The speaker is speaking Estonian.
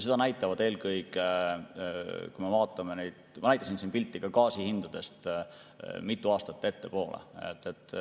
Ma näitasin siin pilti ka gaasi hindadest mitu aastat ettepoole.